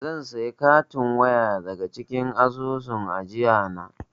Zan saya katin waya daga cikin asusun ajiyana.